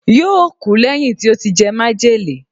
yóò kú lẹ́yìn tí ó ti jẹ májèlé